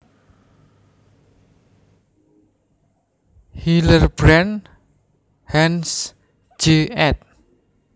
Hillerbrand Hans J ed